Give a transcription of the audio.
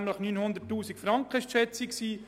Die Schätzung betrug 900 000 Franken.